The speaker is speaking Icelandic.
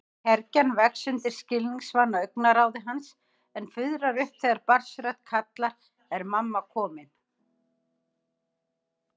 Kergjan vex undir skilningsvana augnaráði hans en fuðrar upp þegar barnsrödd kallar: Er mamma komin?